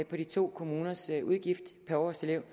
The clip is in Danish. på de to kommuners udgift per årselev